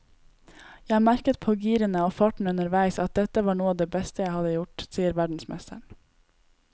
Jeg merket på girene og farten underveis at dette var noe av det beste jeg hadde gjort, sier verdensmesteren.